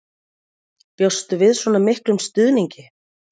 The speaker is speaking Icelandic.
Breki Logason: Bjóstu við svona miklum stuðningi?